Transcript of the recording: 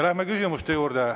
Lähme küsimuste juurde.